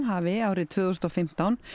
hafi árið tvö þúsund og fimmtán